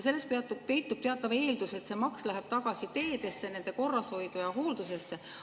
Selles peitub teatav eeldus, et see maks läheb tagasi teedesse, nende korrashoidu ja hooldusesse.